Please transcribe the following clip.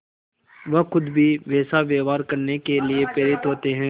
वह खुद भी वैसा व्यवहार करने के लिए प्रेरित होते हैं